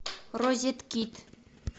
розеткид